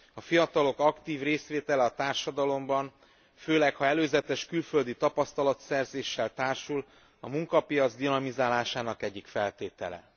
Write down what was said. A fiatalok aktív részvétele a társadalomban, főleg, ha előzetes külföldi tapasztalatszerzéssel társul, a munkapiac dinamizálásnak egyik feltétele.